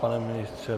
Pane ministře?